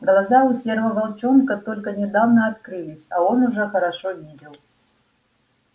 глаза у серого волчонка только недавно открылись а он уже хорошо видел